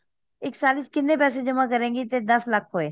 ਇੱਕ ਸਾਲ ਚ ਕੀਹਨੇ ਪੈਸੇ ਜਮਾ ਕਰੇਂਗੀ ਕੀ ਦੱਸ ਲੱਖ ਹੋਏ